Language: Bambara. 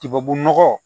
Tubabu nɔgɔ